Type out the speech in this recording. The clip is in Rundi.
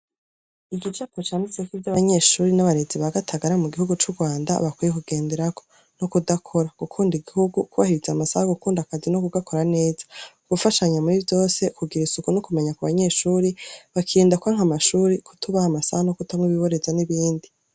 Igicapo candiseko ivy'abanyeshuri n'abarezi ba Gatagara mu gihugu c'urwanda bakwiye kugenderako no kudakora, gukunda igihugu, kubahiriza amasaha yo gukunda akazi no kugakora neza, gufashanya muri vyose, kugira isuku no kumenya ku banyeshuri, bakirinda kwanka amashuri, kutubaha amasaha no kutanywa ibiboreza n'ibindi.